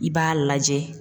I b'a lajɛ